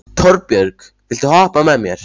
Torbjörg, viltu hoppa með mér?